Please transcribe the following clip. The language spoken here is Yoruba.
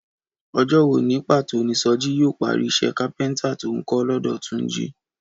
Ọjọ́ wo ní pàtó ni Sọjí yóò parí iṣẹ́ kápẹ́ntà tó ń kọ́ lọ́dọ̀ Túnjí?